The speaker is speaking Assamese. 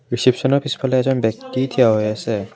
ৰিচিপচনৰ পিছফালে এজন ব্যক্তি থিয় হৈ আছে।